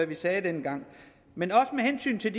vi sagde dengang men også med hensyn til